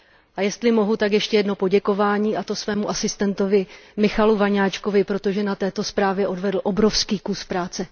A jestli mohu, tak ještě jedno poděkování, a to svému asistentovi Michalu Vaňáčkovi, protože na této zprávě odvedl obrovský kus práce.